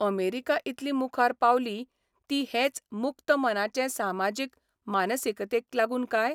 America Italy मुखार पावली ती हेच मुक्त मनाचे सामाजीक मानसिकतेक लागून काय?